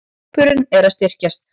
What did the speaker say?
Hópurinn er að styrkjast.